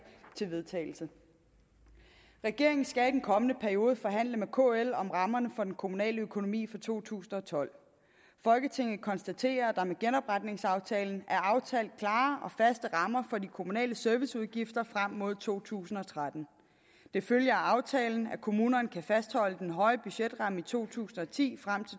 til vedtagelse regeringen skal i den kommende periode forhandle med kl om rammerne for den kommunale økonomi for to tusind og tolv folketinget konstaterer at der med genopretningsaftalen er aftalt klare og faste rammer for de kommunale serviceudgifter frem mod to tusind og tretten det følger af aftalen at kommunerne kan fastholde den høje budgetramme i to tusind og ti frem